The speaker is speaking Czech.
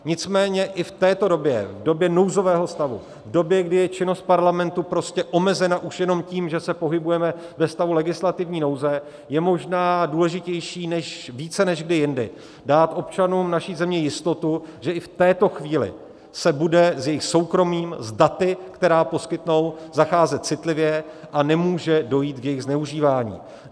Nicméně i v této době, v době nouzového stavu, v době, kdy je činnost Parlamentu prostě omezena už jenom tím, že se pohybujeme ve stavu legislativní nouze, je možná důležitější více než kdy jindy dát občanům naší země jistotu, že i v této chvíli se bude s jejich soukromím, s daty, která poskytnou, zacházet citlivě a nemůže dojít k jejich zneužívání.